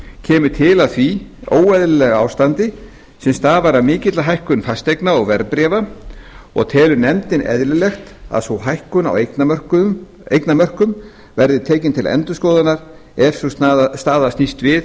kemur til af því óeðlilega ástandi sem stafar af mikilli hækkun fasteigna og verðbréfa og telur nefndin eðlilegt að sú hækkun á eignamörkum verði tekin til endurskoðunar ef sú staða snýst við